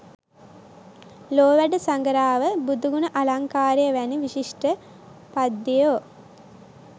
ලෝ වැඩසඟරාව, බුදුගුණ අලංකාරය වැනි විශිෂ්ට පද්‍යයෝ